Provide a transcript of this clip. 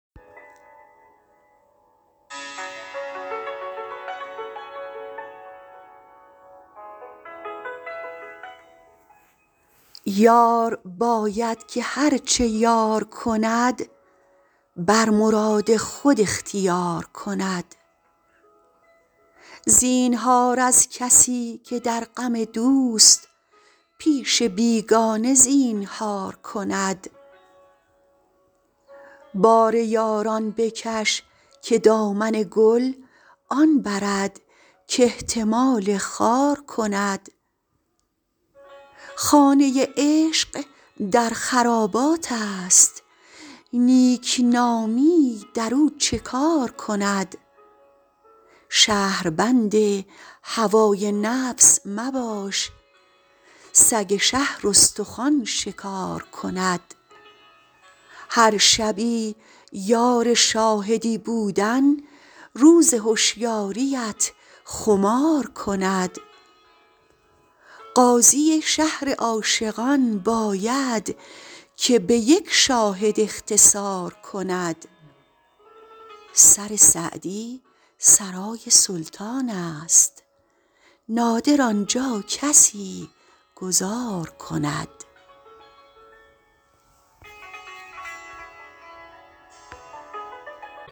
یار باید که هر چه یار کند بر مراد خود اختیار کند زینهار از کسی که در غم دوست پیش بیگانه زینهار کند بار یاران بکش که دامن گل آن برد کاحتمال خار کند خانه عشق در خراباتست نیکنامی در او چه کار کند شهربند هوای نفس مباش سگ شهر استخوان شکار کند هر شبی یار شاهدی بودن روز هشیاریت خمار کند قاضی شهر عاشقان باید که به یک شاهد اختصار کند سر سعدی سرای سلطانست نادر آن جا کسی گذار کند